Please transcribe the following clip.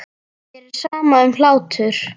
Mér er sama um hlátur.